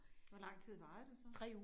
Hvor lang tid varede det så?